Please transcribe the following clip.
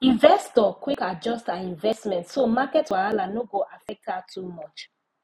investor quick adjust her investment so market wahala no go affect her too much